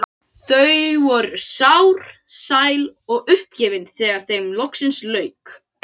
Þau voru sár, sæl og uppgefin þegar þeim loksins lauk.